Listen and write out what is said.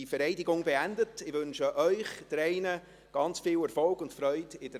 Wir gratulieren dir und deiner ganzen Familie herzlich zu eurem Nik Felix.